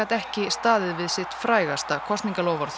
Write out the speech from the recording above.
ekki staðið við sitt frægasta kosningaloforð